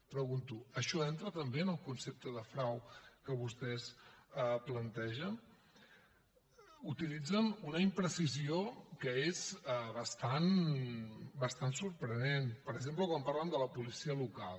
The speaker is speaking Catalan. pregunto això entra també en el concepte de frau que vostès plantegen utilitzen una imprecisió que és bastant sorprenent per exemple quan parlen de la policia local